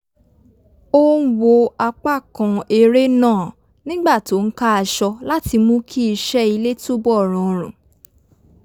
ó ń wo apà kan eré náà nígbà tó ń ká aṣọ láti mú kí iṣẹ́ ilé túbọ̀ rọrùn